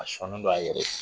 A sɔnnen don a yɛrɛ ye